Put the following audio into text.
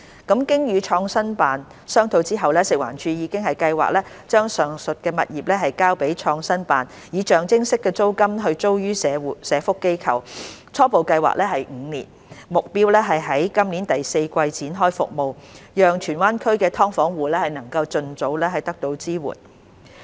經與創新辦商討後，食環署已計劃把上述物業交予創新辦，以象徵式租金租予社福機構，初步計劃為期5年，目標是在今年第四季展開服務，讓荃灣區的"劏房戶"能盡早得到支援。